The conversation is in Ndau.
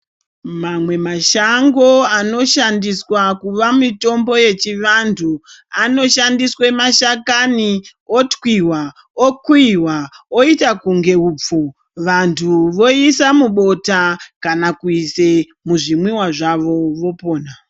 Mamwe mashango anoshandiswa kuva mitombo yechivantu anoshandiswe mashakani otwiwa okuiwa oite kunge upfu vantu voisa mubota kana kuise muzvimwiwa zvavo vopona.